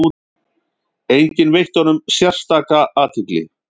Enginn veitti honum sérstaka athygli.